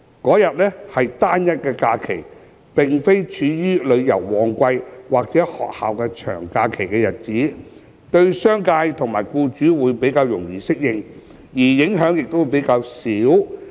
該日為單一假期，並非處於旅遊旺季或學校長假期的日子，對商界及僱主會較易適應，而影響亦較少。